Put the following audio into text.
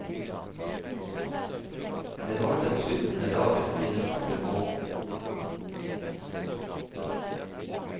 Det var den syttende dagen i den andre måneden.